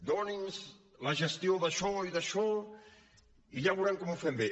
doni’ns la gestió d’això i d’això i ja veuran com ho fem bé